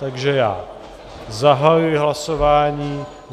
Takže já zahajuji hlasování.